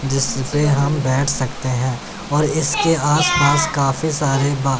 जिस से हम बैठ सकते हैं और इसके आसपास काफी सारे बा--